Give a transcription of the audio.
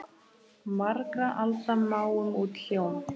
Margra alda máum út hljóm?